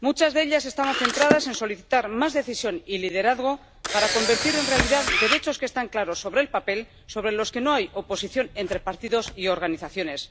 Se solicitó más decisión y liderazgo para convertir en realidad derechos que están claros sobre el papel y sobre los que no hay oposición entre partidos y organizaciones